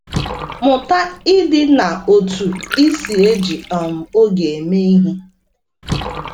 Mụta ịdị n’otú i si eji um oge eme ihe.